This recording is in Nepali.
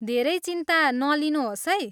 धेरै चिन्ता नलिनुहोस् है।